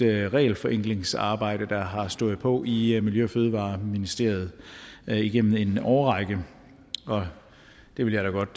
regelforenklingsarbejde der har stået på i i miljø og fødevareministeriet igennem en årrække og det vil jeg da godt